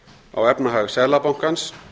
á efnahag seðlabankans